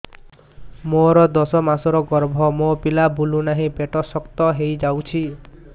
ମୋର ଦଶ ମାସର ଗର୍ଭ ମୋ ପିଲା ବୁଲୁ ନାହିଁ ପେଟ ଶକ୍ତ ହେଇଯାଉଛି